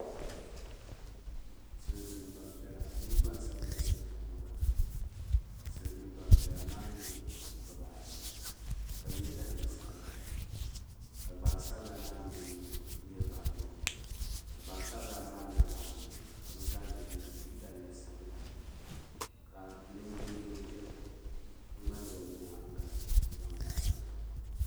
Silimiin gbampiɛla mini gbansabla n ʒɛ kum gbini ka Silimiin gbampiɛla maa nyɛ bibaa ayi ka ye daliya sabla ka gbansabla maa me nyɛ niriba ayɔbu ka gbansabla maa niriba anu ka bɛ zaa ye daliya sabla ka linjin'doo ʒeya ka ŋmaligi o nyaanga n zaŋ bahiba na.